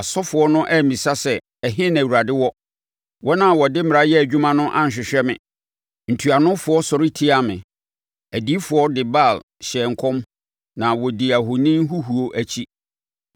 Asɔfoɔ no ammisa sɛ, ‘Ɛhe na Awurade wɔ?’ Wɔn a wɔde mmara yɛ adwuma no anhwehwɛ me; ntuanofoɔ sɔre tiaa me. Adiyifoɔ no de Baal hyɛɛ nkɔm, na wɔdii ahoni huhuo akyi.